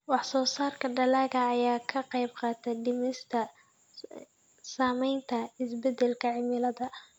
Wax-soo-saarka dalagga ayaa ka qaybqaata dhimista saamaynta isbeddelka cimilada.